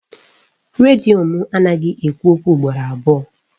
Redio mụ anaghị ekwu okwu ugboro abụọ